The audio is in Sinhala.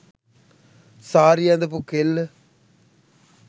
සාරිය ඇඳපු කෙල්ල